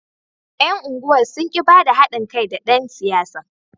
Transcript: Yan unguwar sun ki ba da hadin kai da dan siyasar.